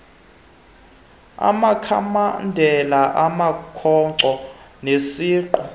amakhamandela amakhonkco nesiqu